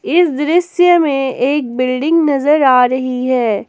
इस दृश्य में एक बिल्डिंग नजर आ रही है।